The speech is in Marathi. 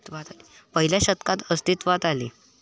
पहिल्या शतकात अस्तित्वात आले.